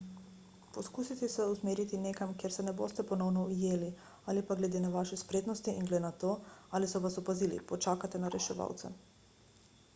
poskusite se usmeriti nekam kjer se ne boste ponovno ujeli ali pa glede na vaše spretnosti in glede na to ali so vas opazili počakate na reševalce